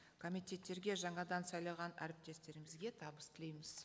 комитеттерге жаңадан сайланған әріптестерімізге табыс тілейміз